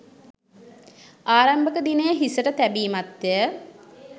ආරම්භක දිනය හිසට තැබීමත්ය.